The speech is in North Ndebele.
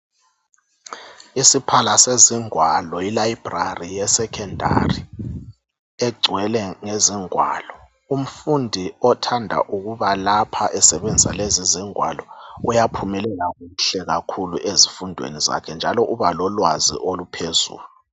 Isiphala sezingwalo i"library" yeSekhondari egcwele ngezingwalo. Umfundi othanda ukubalapha esebenzisa lezi izingwalo uyaphumelela kuhle kakhulu ezifundweni zakhe njalo ubalolwazi oluphezulu.